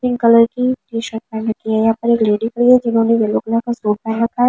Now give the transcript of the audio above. Pink colour की T shirt पहन रखी है यहां पर एक लेडी भी है जिन्होंने येलो कलर का सूट पहन रखा है।